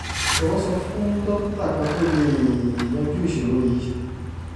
jọwọ sọ fún dókítà kan tó lè yanjú ìṣòro yìí